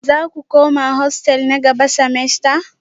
Za ku koma hostel na gaba semester?